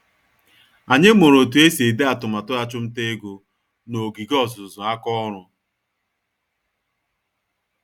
Anyị mụrụ otú esi ede atụmatụ achumtaego, n'ogige ọzụzụ àkà ọrụ